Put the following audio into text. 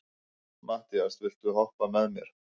Mattías, viltu hoppa með mér?